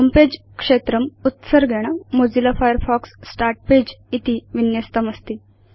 होमे पगे क्षेत्रम् उत्सर्गेण मोजिल्ला फायरफॉक्स स्टार्ट् पगे इति विन्यस्तमस्ति